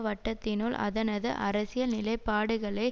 வட்டத்தினுள் அதனது அரசியல் நிலைப்பாடுகளை